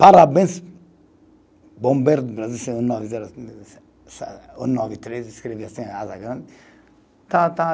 Parabéns, Bombeiro do Brasil, um, nove, três escrevi